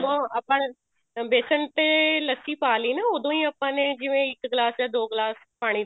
ਆਪਾਂ ਨੇ ਹੁਣ ਬੇਸਨ ਤੇ ਲੱਸੀ ਪਾਲੀ ਨਾ ਉਦੋਂ ਹੀ ਆਪਾਂ ਨੇ ਜਿਵੇਂ ਇੱਕ ਗਲਾਸ ਜਾਂ ਦੋ ਗਲਾਸ ਪਾਣੀ ਦੇ